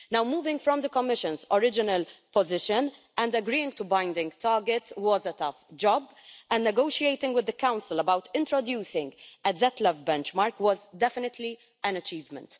Now moving from the Commission's original position, and agreeing to binding targets was a tough job, and negotiating with the Council about introducing a ZLEV benchmark was definitely an achievement.